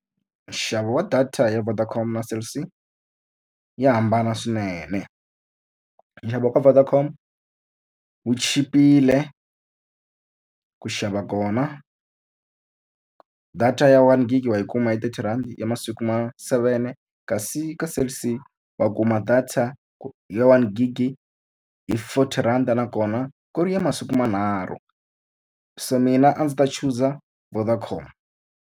Nxavo wa data ya Vodacom na Cell C ya hambana swinene. Nxavo wa ka Vodacom wu chipile, ku xava kona data ya one gig wa yi kuma hi thirty rhandi ya masiku ma seven. Kasi ka Cell C va kuma data ya one gig hi forty rand nakona ku ri ya masiku manharhu. So mina a ndzi ta chuza Vodacom.